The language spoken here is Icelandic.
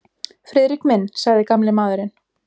Friðrik minn sagði gamli maðurinn.